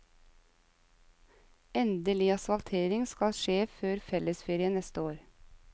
Endelig asfaltering skal skje før fellesferien neste år.